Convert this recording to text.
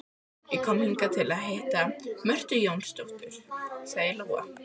Ég kom hingað til að hitta Mörtu Jónasdóttur, sagði Lóa.